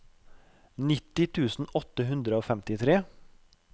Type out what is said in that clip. nitti tusen åtte hundre og femtitre